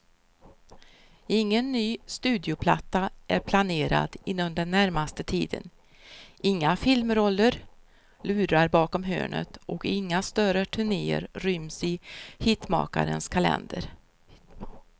Ingen ny studioplatta är planerad inom den närmaste tiden, inga filmroller lurar bakom hörnet och inga större turnéer ryms i hitmakarens kalender.